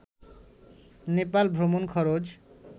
নেপাল ভ্রমণ খরচ